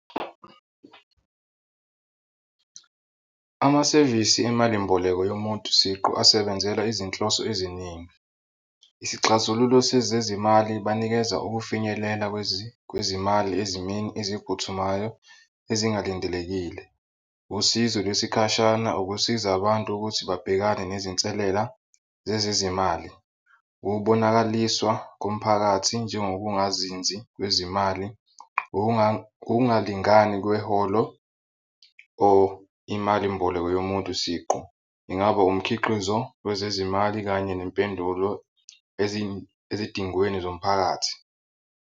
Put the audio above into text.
Amasevisi emalimboleko yomuntu siqu asebenzela izinhloso eziningi. Isixazululo sezezimali banikeza ukufinyelela kwezimali ezimeni eziphuthumayo ezingalindelekile, usizo lwesikhashana ukusiza abantu ukuthi babhekane nezinselela zezezimali. Ukubonakaliswa komphakathi njengokungazinzi kwezimali, ukungalingani kweholo or imalimboleko yomuntu siqu, ingaba umkhiqizo wezezimali kanye nempendulo ezidingweni zomphakathi.